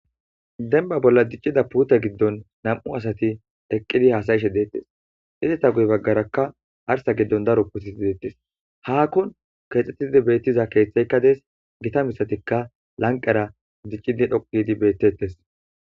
denba bolla diccida puuta giddon nam'u asati eqqidi haasayishe de'ettes izeta guy baggarakka arsa giddon daro putiti deettes haakkon keexxettidi beettiza keeththeykka dees gita mishatikka lanqera diccidi dhoqidi bettettes